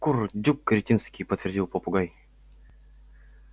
курдюк кретинский подтвердил попугай